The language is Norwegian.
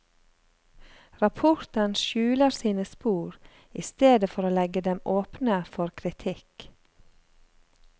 Rapporten skjuler sine spor, i stedet for å legge dem åpne for kritikk.